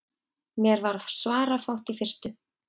Mér varð svarafátt í fyrstu.